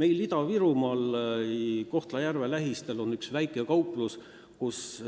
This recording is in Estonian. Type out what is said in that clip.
Meil Ida-Virumaal Kohtla-Järve lähistel on üks väike kauplus, kust